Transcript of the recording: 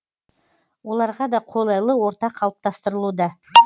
оларға да қолайлы орта қалыптастырылуда